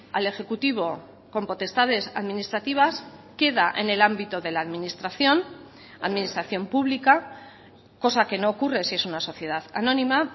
al ejecutivo con potestades administrativas queda en el ámbito de la administración administración pública cosa que no ocurre si es una sociedad anónima